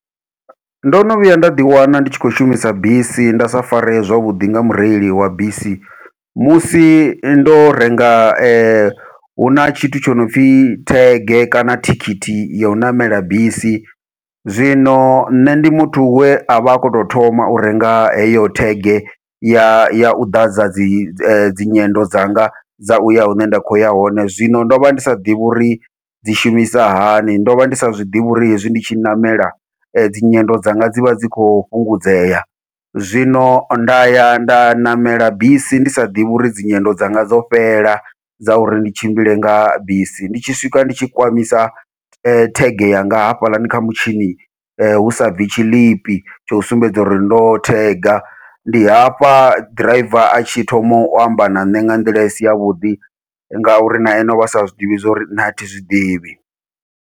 Ndo no vhuya nda ḓi wana ndi tshi khou shumisa bisi ndisa fareye zwavhuḓi nga mureili wa bisi, musi ndo renga huna tshithu tsho no pfhi thege kana thikhithi yau ṋamela bisi, zwino nṋe ndi muthu we avha a khou tou thoma u renga heyo thege ya ya u ḓadza dzi dzinyendo dzanga dza uya hune nda kho ya hone, zwino ndovha ndi sa ḓivhi uri dzi shumisa hani ndovha ndi sa zwiḓivhi uri hezwi ndi tshi ṋamela dzinyendo dzanga dzivha dzi kho fhungudzea. Zwino nda ya nda ṋamela bisi ndisa ḓivhi uri dzinyendo dzanga dzo fhela dza uri ndi tshimbile nga bisi, ndi tshi swika nditshi kwamisa thege yanga hafhaḽani kha mutshini hu sa bvi tshiḽipi tsho sumbedza uri ndo thega, ndi hafha ḓiraiva atshi thoma u amba na ṋne nga nḓila isi yavhuḓi ngauri na ene ovha sa zwiḓivhi zwori nṋe athi zwiḓivhi.